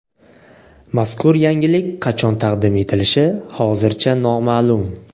Mazkur yangilik qachon taqdim etilishi hozircha noma’lum.